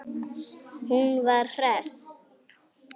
Hún var hress.